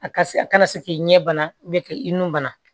A ka se a kana se k'i ɲɛ bana k'i nun bana